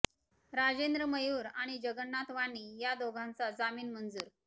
राजेंद्र मयूर आणि जगन्नाथ वाणी या दोघांचा जामीन मंजूर